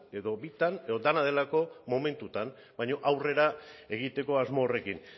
edo bitan edo dena delako momentuan baina aurrera egiteko asmo horrekin